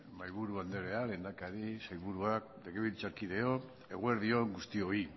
mahaiburu andrea lehendakari sailburuak legebiltzarkideok eguerdi on guztioi